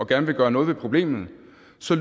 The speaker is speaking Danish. gerne vil gøre noget ved problemet